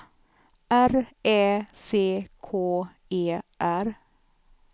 R Ä C K E R